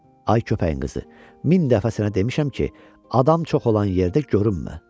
Ay köpəyin qızı, min dəfə sənə demişəm ki, adam çox olan yerdə görünmə.